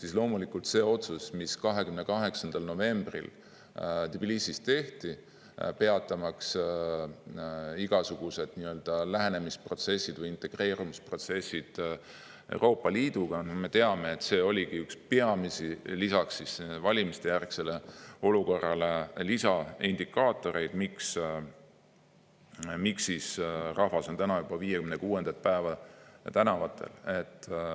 Me teame, et see otsus, mis 28. novembril Tbilisis tehti, peatamaks igasugune nii-öelda lähenemisprotsess või integreerumine Euroopa Liiduga, loomulikult oligi üks peamisi lisaks valimistejärgsele olukorrale, lisaindikaator, miks rahvas on täna juba 56. päeva tänavatel.